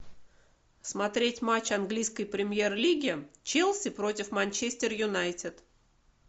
смотреть матч английской премьер лиги челси против манчестер юнайтед